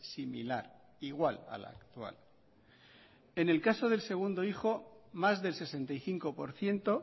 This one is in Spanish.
similar igual a la actual en el caso del segundo hijo más del sesenta y cinco por ciento